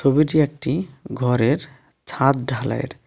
ছবিটি একটি ঘরের ছাদ ঢালাইয়ের.